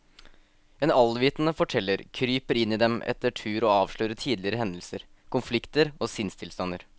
En allvitende forteller kryper inn i dem etter tur og avslører tidligere hendelser, konflikter og sinnstilstander.